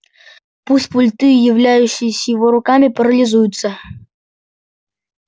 пусть пульты являющиеся его руками парализуются